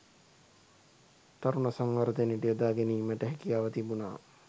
තරුණ සංවර්ධනයට යොදා ගැනීමට හැකියාව තිබුණා.